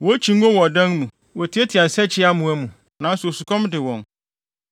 Wokyi ngo wɔn adan mu; wotiatia nsakyiamoa mu, nanso osukɔm de wɔn.